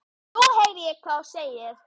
Nú heyri ég hvað þú segir.